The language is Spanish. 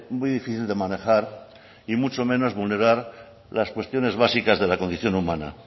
muy difícil de manejar y mucho menos vulnerar las cuestiones básicas de la condición humana